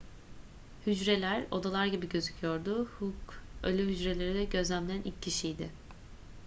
hücreler odalar gibi gözüküyordu hooke ölü hücreleri gözlemleyen ilk kişiydi